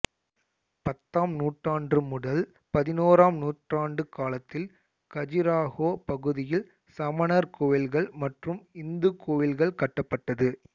பத்தாம் நூற்றாண்டு முதல் பதினோறாம் நூற்றாண்டு காலத்தில் கஜுராஹோ பகுதியில் சமணர் கோயில்கள் மற்றும் இந்துக் கோயில்கள் கட்டப்பட்டது